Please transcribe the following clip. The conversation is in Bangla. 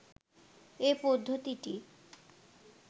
এ পদ্ধতিটি